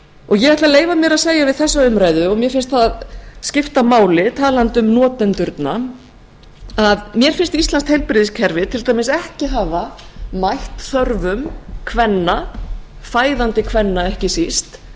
ég ætla að leyfa mér að segja við þessa umræðu og mér finnst það skipta máli talandi um notendurna að mér finnst íslenskt heilbrigðiskerfi til dæmis ekki hafa mætt þörfum kvenna fæðandi kvenna ekki síst